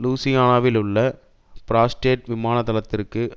லூசியானாவிலுள்ள Barksdale விமானத்தளத்திற்கு